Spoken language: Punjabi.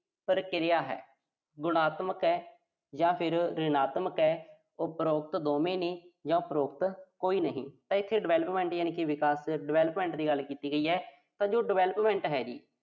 ਪ੍ਰਕਿਰਿਆ ਹੈ। ਗੁਣਤਮਕ ਆ ਜਾਂ ਫਿਰ ਰਿਣਾਤਮਾ ਆ। ਉਪਰੋਕਤ ਦੋਵੇਂ ਨੇ ਜਾਂ ਉਪਰੋਕਤ ਕੋਈ ਨਹੀਂ। ਤਾਂ ਇੱਥੇ development ਯਾਨੀ ਵਿਕਾਸ development ਦੀ ਗੱਲ ਕੀਤੀ ਗਈ ਐ, ਤਾਂ ਜੋ development ਹੈ ਜੀ।